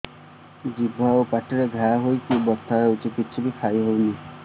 ଜିଭ ଆଉ ପାଟିରେ ଘା ହେଇକି ବଥା ହେଉଛି କିଛି ବି ଖାଇହଉନି